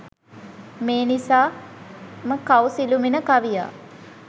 මේ නිසා ම කවි සිළුමිණ කවියා